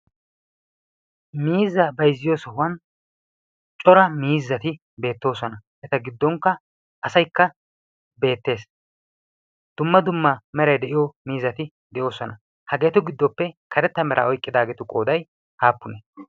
Miizzaa bayzziyo sohuwan cora miizzati beettoosona. Eta giddonikka asaykka beettees. Dumma dumma meray de'iyo miizzati de'oosona. Hagetu giddoppe karetta meraa oyqqidaageetu qoday aappunee?